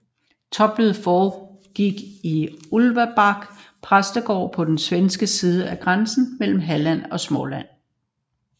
Topmødet foregik i Ulvsbäck præstegård på den svenske side af grænsen mellem Halland og Småland